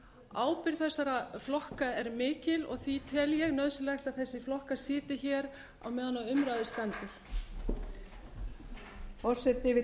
ábyrgð þessara flokka er mikil og því tel ég nauðsynlegt að þessir flokkar sitji hér meðan á umræðu standi